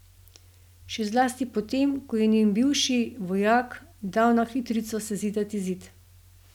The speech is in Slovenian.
Še zlasti potem, ko je njen bivši, vojak, dal na hitrico sezidati zid.